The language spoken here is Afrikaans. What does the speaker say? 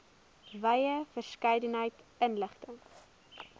wye verskeidenheid inligting